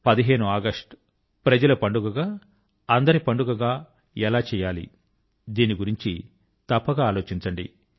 15 August ప్రజల పండుగ గా అందరి పండుగ గా ఎలా చేయాలి దీని గురించి తప్పక ఆలోచించండి